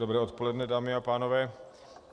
Dobré odpoledne, dámy a pánové.